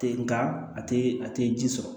Tɛ nka a tɛ a tɛ ji sɔrɔ